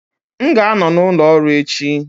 M ga-anọ n' ụlọ ọrụ echi